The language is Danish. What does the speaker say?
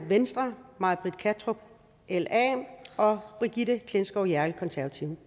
may britt kattrup og brigitte klintskov jerkel forslag til